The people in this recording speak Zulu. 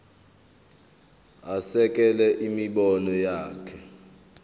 asekele imibono yakhe